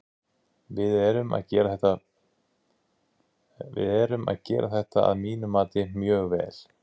Við erum að gera þetta að mínu mati mjög vel.